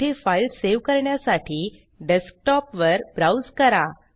येथे file save करण्यासाठी desktop वर ब्राउज़ करा